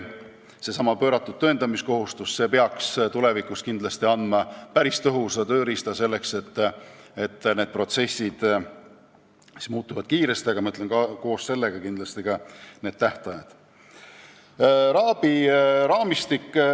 Seesama pööratud tõendamiskohustus peaks tulevikus kindlasti andma päris tõhusa tööriista selleks, et need protsessid kiiresti muutuksid ja koos sellega muutuksid ka tähtajad.